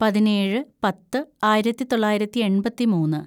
പതിനേഴ് പത്ത് ആയിരത്തിതൊള്ളായിരത്തി എണ്‍പത്തിമൂന്ന്‌